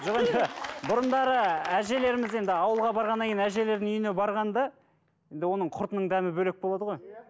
жоқ енді бұрындары әжелеріміз енді ауылға барғаннан кейін әжелердің үйіне барғанда енді оның құртының дәмі бөлек болады ғой